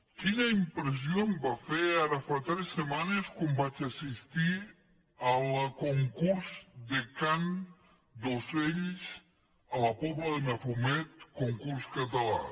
quina impressió em va fer ara fa tres setmanes quan vaig assistir al concurs de cant d’ocells a la pobla de mafumet concurs català